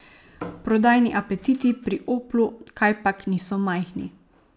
Prodajni apetiti pri Oplu kajpak niso majhni.